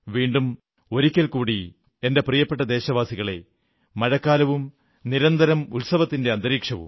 വീണ്ടും ഒരിക്കൽ കൂടി എന്റെ പ്രിയപ്പെട്ട ദേശവാസികളേ മഴക്കാലവും തുടർച്ചയായ ഉത്സവാന്തരീക്ഷവും